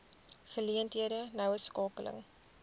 geleenthede noue skakeling